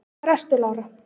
Hvar ertu Lára?